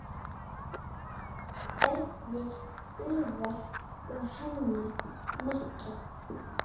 Ernir, Úlfar og Hanna Matta.